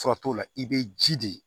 Fura t'o la i bɛ ji de